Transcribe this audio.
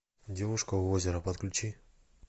девушка у озера подключи